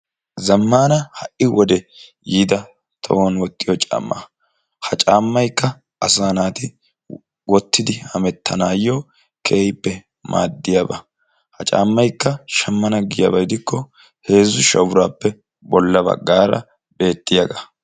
Zammana ha"i wode yiidda tohuwaani wottiyo caamma, ha caammaykka asa naatti wottidi hemettanayo keehippe maadiyaba. Ha caammakka shammana giyabba gidikko heezzu sha'u birappe bollabaggata beettiyaga.